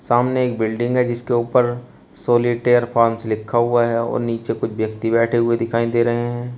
सामने एक बिल्डिंग है जिसके ऊपर सॉलिटेअर फार्मस लिखा हुआ है और नीचे कुछ व्यक्ति बैठे हुए दिखाई दे रहे हैं।